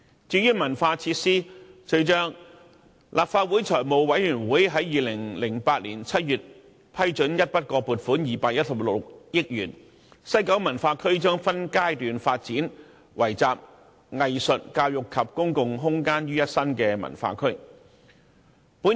至於文化設施，隨着立法會財務委員會在2008年7月批准一筆過撥款216億元，西九文化區將分階段發展成為集藝術、教育及公共空間於一身的文化區。